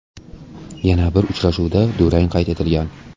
Yana bir uchrashuvda durang qayd etilgan.